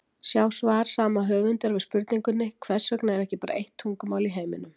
Sjá svar sama höfundar við spurningunni: Hvers vegna er ekki bara eitt tungumál í heiminum?